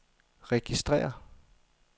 registrér